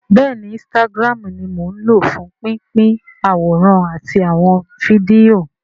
Bẹ́ẹ̀ni instagram ni mò ń lò fún pínpín àwòrán àti àwọn fídíò